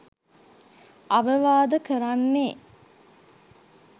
අවවාද කරන්නේ